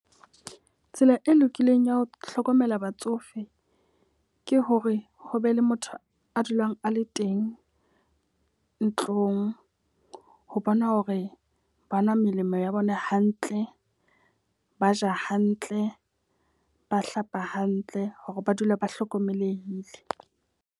Tsela e lokileng ya ho hlokomela batsofe ke hore ho be le motho a dulang a le teng ntlong ho bona hore ba nwa melemo ya bona hantle, ba ja hantle, ba hlapa hantle. Hore ba dule ba hlokomelehile.